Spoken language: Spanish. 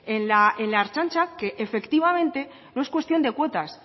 en la ertzaintza que efectivamente no es cuestión de cuotas